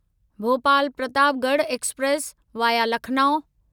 Bhopal Pratapgarh express (via Lucknow)